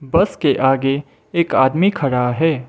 बस के आगे एक आदमी खड़ा है।